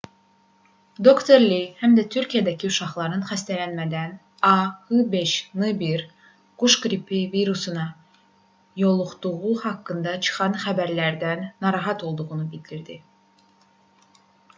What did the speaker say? dr. li həm də türkiyədəki uşaqların xəstələnmədən a h5n1 quş qripi virusuna yoluxduğu haqqında çıxan xəbərlərdən narahat olduğunu bildirdi